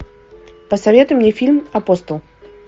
посоветуй мне фильм апостол